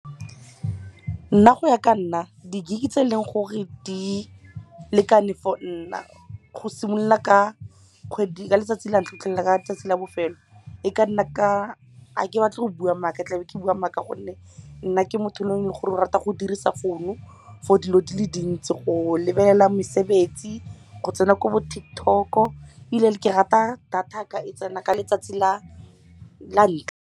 Nna go ya ka nna di-gig tse eleng gore di lekane for nna go simolola ka letsatsi la ntlha go fitlhela ka tsatsi la bofelo, ga ke batla go bua maaka tlabe ke bua maaka gonne nna ke motho le gore o rata go dirisa founu for dilo dile dintsi, go lebelela mesebetsi, go tsena ko bo TikTok-o. Ebile ke rata data ka e tsena ka letsatsi la ntlha.